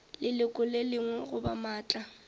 leloko le lengwe goba maatla